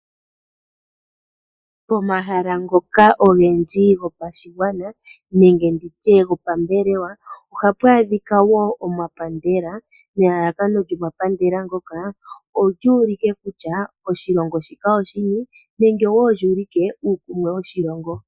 Omahala ngoka ogendji yopashigwana nenge nditye gopambelewa ohapu adhika wo omapandela, nelalakano lyomapandela ngoka olyu ulike kutya oshilongo shika oshini nenge wo lyu ulike uukumwe woshilongo.